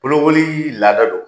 Bolokolii laada do